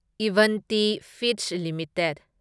Avanti Feeds limited